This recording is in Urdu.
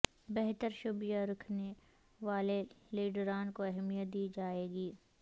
بہتر شبیہ رکھنے والے لیڈران کو اہمیت دی جائے گی